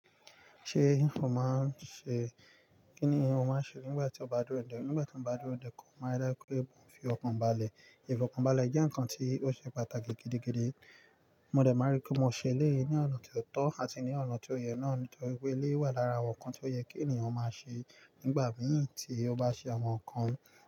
Ṣé ìhùn máa ń ṣe? Kí ni ìhùn máa ń ṣe nígbà tí o bá dúró dè? Nígbà tí mo bá dúró dè, kò máa rẹ kù ẹbùn fi ọkàn balẹ̀. Ìfọ̀kànbalẹ̀ jẹ́ ǹkan tí ó ṣe pàtàkì gidigidi. Mo dẹ̀ ma ri kí mo ṣe léè ní ọ̀nà tó tọ́ àti ní ọ̀nà tó yẹ náà nítorí pé léè wà lára àwọn ǹkan tí ó yẹ kí ènìyàn máa ṣe nígbà mì tí ó bá ṣe àwọn ǹkan.